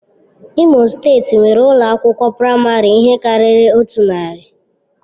Imo steeti nwere ụlọ akwụkwọ praịmarị ihe karịrị otu narị.